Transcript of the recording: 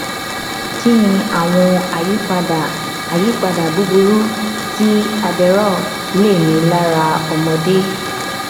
kí ni àwọn àyípadà àyípadà búburú tí adderall lè ní lára ọmọdé